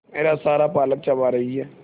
मेरा सारा पालक चबा रही है